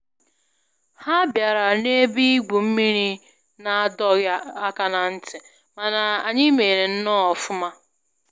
Ha bịara na ebe igwu mmiri n'adọghị aka na ntị, mana anyị mere nnọọ ọfụma